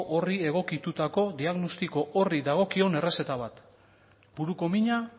horri egokitutako diagnostiko horri dagokion errezeta bat buruko mina